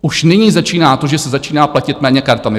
Už nyní začíná to, že se začíná platit méně kartami.